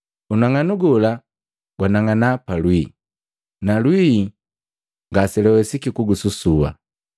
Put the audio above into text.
Unang'anu gola gwanang'ana pa lwii, na lwii ngaselwawesiki kususua.